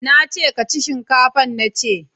ka je ka ci shinkafan nace!